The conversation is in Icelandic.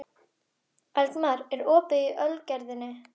Eldmar, er opið í Ölgerðinni?